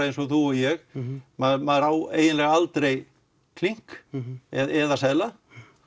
eins og þú og ég maður maður á eiginlega aldrei klink eða seðla